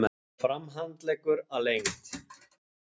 Eins og framhandleggur að lengd.